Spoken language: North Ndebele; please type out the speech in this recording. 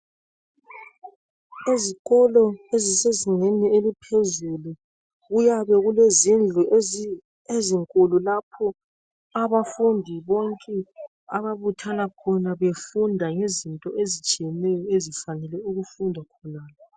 Ezikolo ezisezingeni eliphezulu kuyabe kulezindlu ezinkulu lapho abafundi bonke ababuthana khona befunda ngezinto ezitshiyeneyo ezifanele ukufundwa khonale.